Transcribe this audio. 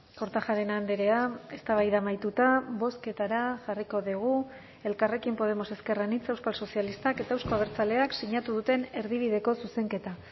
kortajarena andrea eztabaida amaituta bozketara jarriko dugu elkarrekin podemos ezker anitza euskal sozialistak eta euzko abertzaleak sinatu duten erdibideko zuzenketa